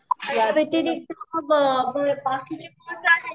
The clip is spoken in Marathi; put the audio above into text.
याच्या व्यतिरिक्त मग बाकीचे कोर्से आहेत